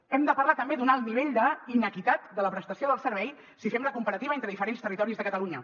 hem de parlar també d’un alt nivell d’inequitat de la prestació del servei si fem la comparativa entre diferents territoris de catalunya